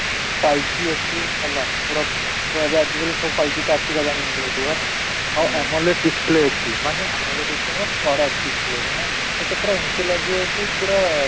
five G ଅଛି ହେଲା ପୁରା ଛୁଆଗା ଆଜି କାଲି ସବୁ five G ତ ଆସିଗଲାଣି ଇଣ୍ଡିଆ କୁ ହେଲା, ଆଉ display ଅଛି, ମାନେ display ମାନେ ମାନେ ଏଇଟା ପୁରା ଏମିତି ଲାଗିବ କି ପୁରା